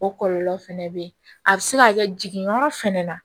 O kɔlɔlɔ fɛnɛ be yen a be se ka kɛ jigin yɔrɔ fɛnɛ na